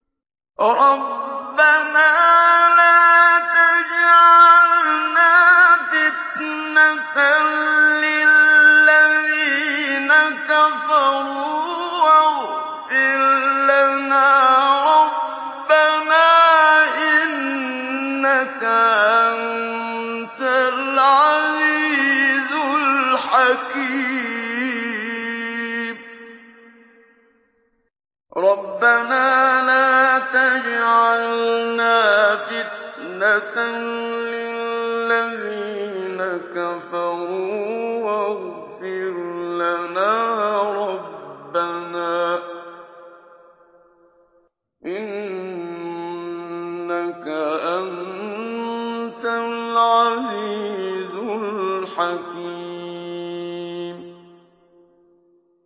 رَبَّنَا لَا تَجْعَلْنَا فِتْنَةً لِّلَّذِينَ كَفَرُوا وَاغْفِرْ لَنَا رَبَّنَا ۖ إِنَّكَ أَنتَ الْعَزِيزُ الْحَكِيمُ